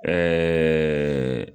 Ɛɛ